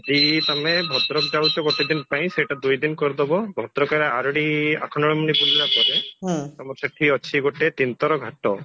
ଯଦି ତମେ ଭଦ୍ରକ ଯାଉଛା ଗୋଟେ ଦିନ ପାଇଁ ସେଇଟା ଦୁଇଦିନ କରିଦାବ ଭଦ୍ରକରେ ଆରଡି ଆଖଣ୍ଡଳମଣି ବୁଲିଲା ପରେ ତମର ସେଠି ଅଛି ଗୋଟେ ଘାଟ